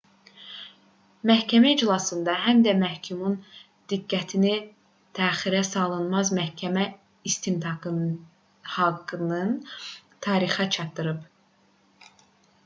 məhkəmə iclasında həm də məhkumun diqqətini təxirəsalınmaz məhkəmə istintaqı haqqının tarixi çatdırılıb